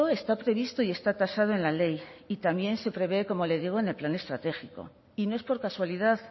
está previsto y está tasado en la ley y también se prevé como le digo en el plan estratégico y no es por casualidad